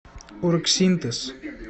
оргсинтез